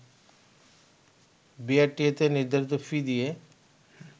বিআরটিএ-তে নির্ধারিত ফি দিয়ে